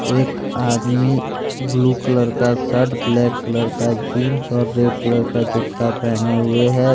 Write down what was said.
एक आदमी blue colour का शर्ट ब्लैक कलर का जींस और रेड कलर का जूता पहने हुए हैं।